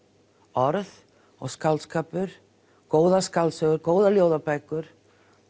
orð og skáldskapur góðar skáldsögur góðar ljóðabækur